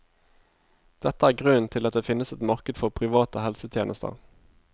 Dette er grunnen til at det finnes et marked for private helsetjenester.